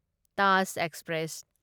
Taj express